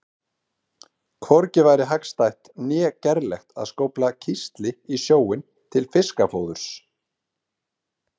Hvorki væri hagstætt né gerlegt að skófla kísli í sjóinn til fiskafóðurs.